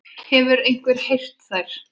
Hefur einhver heyrt þær?